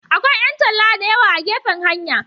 Akwai 'yan talla da yawa a gefen hanya.